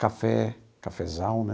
Café, cafezal, né?